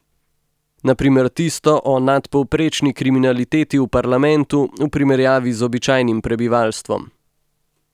Na primer tisto o nadpovprečni kriminaliteti v parlamentu v primerjavi z običajnim prebivalstvom.